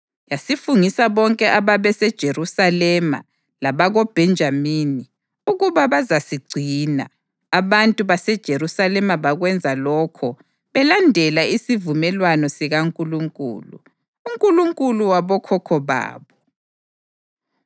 Yasifungisa bonke ababeseJerusalema labakoBhenjamini ukuba bazasigcina; abantu baseJerusalema bakwenza lokho belandela isivumelwano sikaNkulunkulu, uNkulunkulu wabokhokho babo.